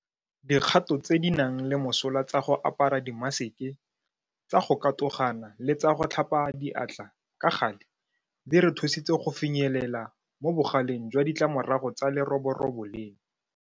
Dikgato tse di nang le mosola tsa go apara dimaseke, tsa go katogana le tsa go tlhapa diatla ka gale di re thusitse go finyelela mo bogaleng jwa ditlamorago tsa leroborobo leno.